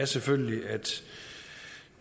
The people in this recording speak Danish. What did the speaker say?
selvfølgelig at